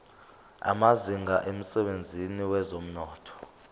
amazinga emsebenzini wezomnotho